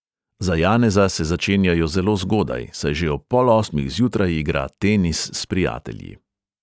Za janeza se začenjajo zelo zgodaj, saj že ob pol osmih zjutraj igra tenis s prijatelji.